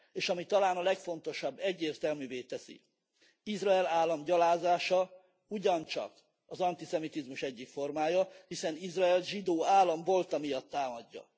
És ami talán a legfontosabb, egyértelművé teszi Izrael állam gyalázása ugyancsak az antiszemitizmus egyik formája, hiszen Izraelt zsidó állam volta miatt támadja.